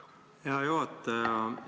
Hea juhataja!